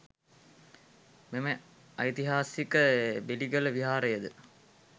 මෙම ඓතිහාසික බෙලිගල විහාරය ද